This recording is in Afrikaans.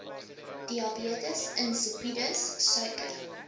diabetes insipidus suiker